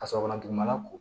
Ka sɔrɔ ka dugumana ko